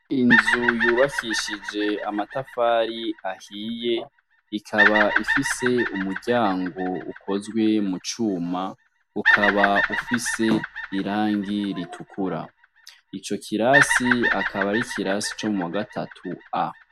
Inzu yubakishije amatafari ahiye, ikaba ifise umuryango ukozwe mucuma, ukaba ufise irangi ritukura, ico kirasi akaba ar'ikirasi co mu wa gatatu A.